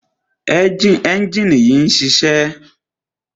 ẹ́njìnì yìí ń ṣiṣẹ́.